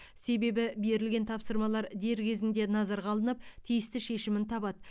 себебі берілген тапсырмалар дер кезінде назарға алынып тиісті шешімін табады